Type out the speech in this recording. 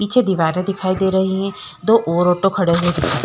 पीछे दीवारें दिखाई दे रही हैं दो और ऑटो खड़े हुए दिखा --